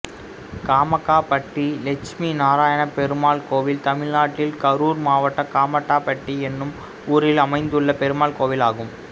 காமக்காப்பட்டி லெட்சுமி நாராயணப் பெருமாள் கோயில் தமிழ்நாட்டில் கரூர் மாவட்டம் காமக்காப்பட்டி என்னும் ஊரில் அமைந்துள்ள பெருமாள் கோயிலாகும்